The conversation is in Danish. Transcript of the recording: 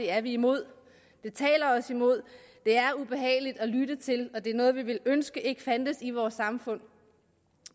er vi imod det taler os imod det er ubehageligt at lytte til og det er noget vi ville ønske ikke fandtes i vores samfund